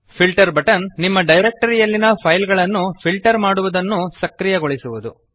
filter button ನಿಮ್ಮ directory ಯಲ್ಲಿನ file ಗಳನ್ನು ಫಿಲ್ಟರ್ ಮಾಡುವದನ್ನು ಸಕ್ರಿಯಗೊಳಿಸುವದು